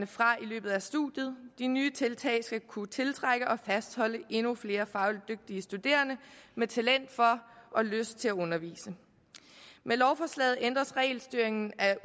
fra i løbet af studiet de nye tiltag skal kunne tiltrække og fastholde endnu flere fagligt dygtige studerende med talent for og lyst til at undervise med lovforslaget ændres regelstyringen af